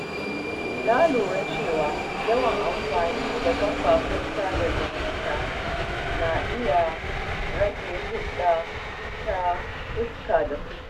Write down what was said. Na lura cewa yawan amfani da kafafen sada zumunta na iya rage hulɗa ta fuska da fuska.